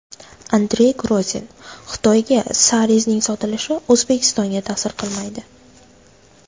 Andrey Grozin: Xitoyga Sarezning sotilishi O‘zbekistonga ta’sir qilmaydi.